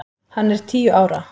Hann er tíu ára!